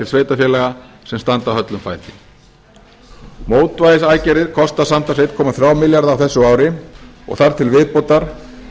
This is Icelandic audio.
sveitarfélaga sem standa höllum fæti mótvægisaðgerðir kosta samtals einn komma þrjá milljarða á þessu ári og þar til viðbótar